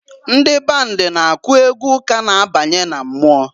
Ndị band na-akụ egwu ụka na-abanye na mmụọ.